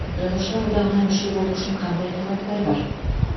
жазушылар одағына мүше болу үшін қандай талаптар бар